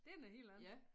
Det noget helt andet